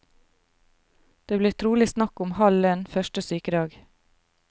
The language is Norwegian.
Det blir trolig snakk om halv lønn første sykedag.